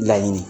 Laɲini